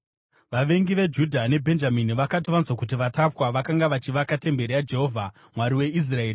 Vavengi veJudha neBhenjamini vakati vanzwa kuti vatapwa vakanga vachivaka temberi yaJehovha, Mwari weIsraeri,